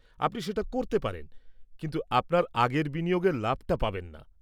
আপনি সেটা করতে পারেন, কিন্তু আপনার আগের বিনিয়োগের লাভটা পাবেন না।